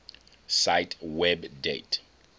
cite web date